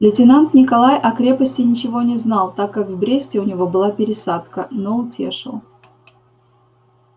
лейтенант николай о крепости ничего не знал так как в бресте у него была пересадка но утешил